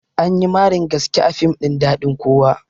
Anyi marin gaske a fim ɗin daɗin kowa